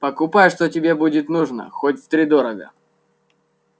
покупай что тебе будет нужно хоть втридорога